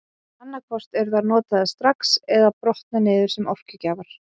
Annað hvort eru þær notaðar strax eða brotna niður sem orkugjafar.